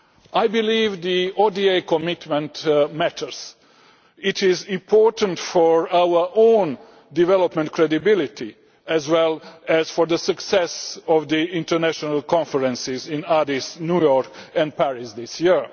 I believe the ODA commitment matters. It is important for our own development credibility, as well as for the success of the international conferences in Addis Ababa, New York and Paris this year.